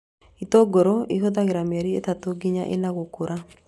Itũngũrũ ĩhũthagĩra mĩeri ĩtatũ nginya ĩna gũkũra